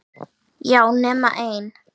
Já, nema ein.